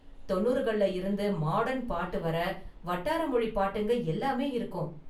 தொன்னூறுகள்ல இருந்து மாடர்ன் பாட்டு வர வட்டார மொழி பாட்டுங்க எல்லாமே இருக்கும்.